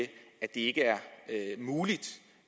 ikke er muligt